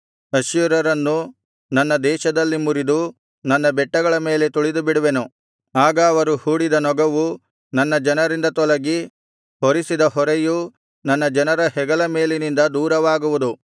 ಅಶ್ಶೂರ್ಯರನ್ನು ನನ್ನ ದೇಶದಲ್ಲಿ ಮುರಿದು ನನ್ನ ಬೆಟ್ಟಗಳ ಮೇಲೆ ತುಳಿದುಬಿಡುವೆನು ಆಗ ಅವರು ಹೂಡಿದ ನೊಗವು ನನ್ನ ಜನರಿಂದ ತೊಲಗಿ ಹೊರಿಸಿದ ಹೊರೆಯು ನನ್ನ ಜನರ ಹೆಗಲ ಮೇಲಿನಿಂದ ದೂರವಾಗುವುದು